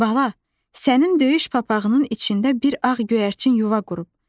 Bala, sənin döyüş papağının içində bir ağ göyərçin yuva qurub.